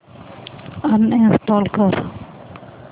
uninstall कर